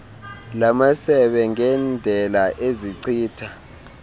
lamasebe ngendela ezichitha